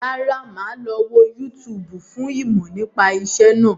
Rárá, máa lọ wo yútúúbù fún ìmọ̀ nípa ìṣẹ́ náà.